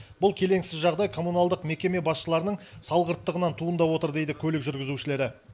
бұл келеңсіз жағдай коммуналдық мекеме басшыларының салғырттығынан туындап отыр дейді көлік жүргізушілері